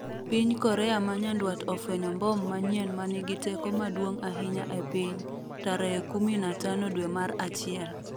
Piny Korea ma nyandwat ofwenyo mbom manyien manigi teko maduong' ahinya e piny ' tarehe kumi na tano dwe mar achiel